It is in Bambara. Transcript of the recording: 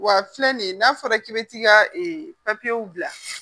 Wa filɛ nin n'a fɔra k'i bɛ t'i ka ee bila